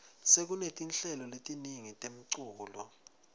sekunetinhlelo letiningi temculo